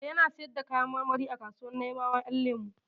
Eh, yana sayar da kayan marmari a kasuwar Naibawa Ƴan lemu.